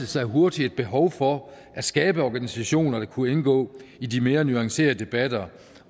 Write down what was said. sig hurtigt et behov for at skabe organisationer der kunne indgå i de mere nuancerede debatter